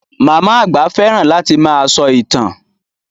Màmá àgbà fẹ́ràn láti máa sọ ìtàn.